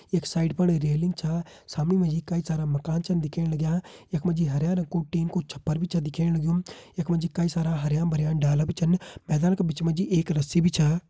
यख साइड फण रेलिंग छा। सामणे मा जी कई सारा मकान छन दिखेण लग्यां यख मा जी हरयां रंग कु टीन कु छप्पर भी छा दिखेण लग्युं यख मा जी कई सारा हरयां भरयां डाला भी छन मैदान का बिच मा जी एक रस्सी भी छा।